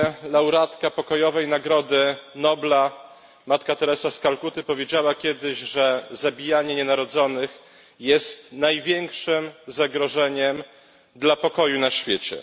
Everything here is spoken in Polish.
Laureatka pokojowej nagrody Nobla Matka Teresa z Kalkuty powiedziała kiedyś, że zabijanie nienarodzonych jest największym zagrożeniem dla pokoju na świecie.